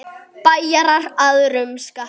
Bæjarar að rumska?